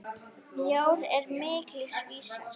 Mjór er mikils vísir.